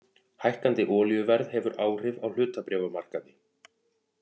Hækkandi olíuverð hefur áhrif á hlutabréfamarkaði